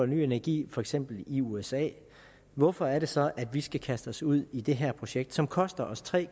ny energi for eksempel i usa hvorfor er det så at vi skal kaste os ud i det her projekt som koster os tre